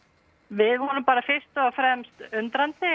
við vorum fyrst og fremst undrandi